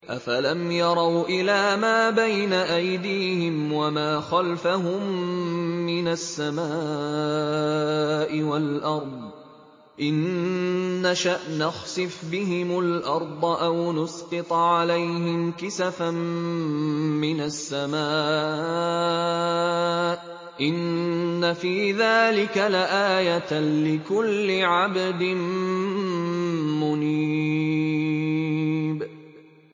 أَفَلَمْ يَرَوْا إِلَىٰ مَا بَيْنَ أَيْدِيهِمْ وَمَا خَلْفَهُم مِّنَ السَّمَاءِ وَالْأَرْضِ ۚ إِن نَّشَأْ نَخْسِفْ بِهِمُ الْأَرْضَ أَوْ نُسْقِطْ عَلَيْهِمْ كِسَفًا مِّنَ السَّمَاءِ ۚ إِنَّ فِي ذَٰلِكَ لَآيَةً لِّكُلِّ عَبْدٍ مُّنِيبٍ